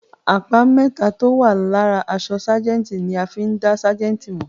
Àpá mẹ́tà tó ń wà lára apá àṣọ ságẹ̀ǹtì ni a fí ń dá ságẹ̀ǹtì mọ̀.